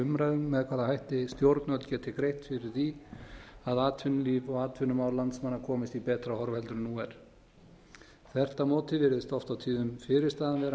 umræðunni með hvaða hætti stjórnvöld geti greitt fyrir því að atvinnulíf og atvinnumál landsmanna komist í betra horf heldur en nú er þvert á móti virðist oft á tíðum fyrirstaðan vera